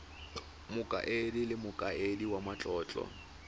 mokaedi le mokaedi wa matlotlo